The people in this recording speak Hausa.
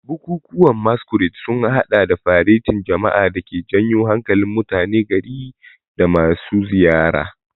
Bukukuwan Masquerade sun hada da faretin jama'a da ke janyo hankalin mutanen gari da masu ziyara.